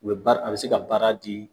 U bɛ baara a bi se ka baara di